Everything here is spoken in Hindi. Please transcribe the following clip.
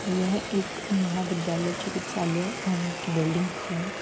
यह एक महाविद्यालय चिकित्सालय अ की बिल्डिंग है।